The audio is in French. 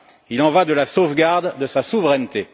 Il en va de la sauvegarde de sa souveraineté.